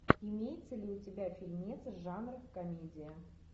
имеется ли у тебя фильмец жанра комедия